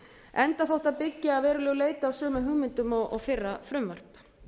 enda þótt það byggi að veruleg leyti á sumum hugmyndum og fyrra frumvarp